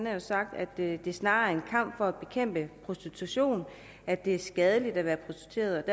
jo sagt at det snarere er en kamp for at bekæmpe prostitution at det er skadeligt at være prostitueret